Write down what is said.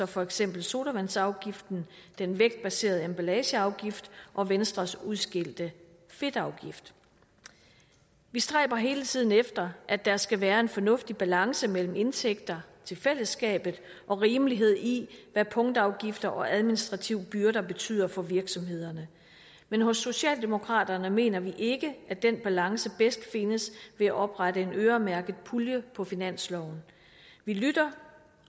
for eksempel sodavandsafgiften den vægtbaserede emballageafgift og venstres udskældte fedtafgift vi stræber hele tiden efter at der skal være en fornuftig balance mellem indtægter til fællesskabet og rimelighed i hvad punktafgifter og administrative byrder betyder for virksomhederne men hos socialdemokraterne mener vi ikke at den balance bedst findes ved at oprette en øremærket pulje på finansloven vi lytter